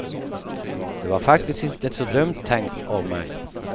Det var faktiskt inte så dumt tänkt av mig.